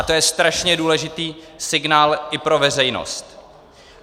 A to je strašně důležitý signál i pro veřejnost.